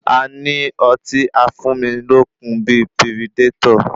A ní ọtí afúnilókun bíi piridétọ̀.